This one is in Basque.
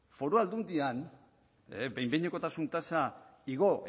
foru aldundian behin behinekotasun tasa igo